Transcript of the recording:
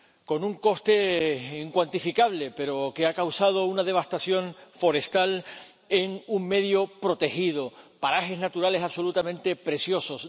Con un coste incuantificable, pero que ha causado una devastación forestal en un medio protegido, parajes naturales absolutamente preciosos.